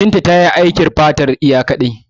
Binta tayi aikin fatar iya kaɗai.